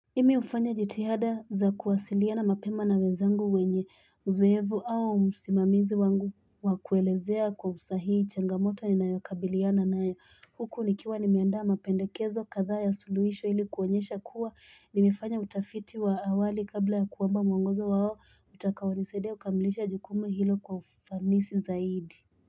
Mimi ufanya jitihada za kuwasiliana mapema na wenzangu wenye uzoevu au msimamizi wangu wakuelezea kwa usahii changamoto ni nayokabiliana nayo huku nikiwa nimeandaa mapendekezo kadhaa ya suluhisho hili kuonyesha kuwa nimefanya utafiti wa awali kabla ya kuomba mwongozo wao utakaonisaidia kukamilisha jukumu hilo kwa ufanisi zaidi.